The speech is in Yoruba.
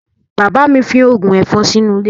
Bàbá mi fín ògùn ẹ̀fọn sínú ilé